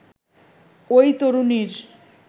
ওই তরুণীর